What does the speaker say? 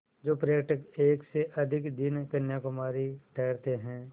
जो पर्यटक एक से अधिक दिन कन्याकुमारी ठहरते हैं